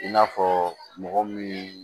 I n'a fɔ mɔgɔ min